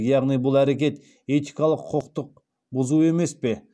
яғни бұл әрекет этикалық құқықтық бұзу емес пе